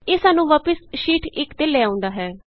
ਇਹ ਸਾਨੂੰ ਵਾਪਸ ਸ਼ੀਟ 1ਤੇ ਲੈ ਆਉਂਦਾ ਹੈ